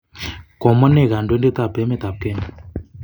Komwa nee kodoindet ab emet ab Kenya?